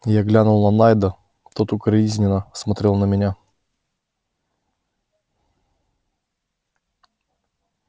я глянул на найда тот укоризненно смотрел на меня